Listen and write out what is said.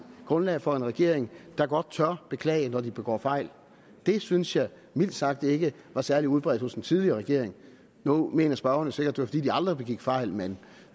grundlag for en regering der godt tør beklage når den begår fejl det synes jeg mildt sagt ikke var særlig udbredt hos den tidligere regering nu mener spørgeren jo sikkert at det var fordi den aldrig begik fejl men